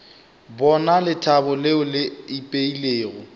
bona lethabo leo le ipeilego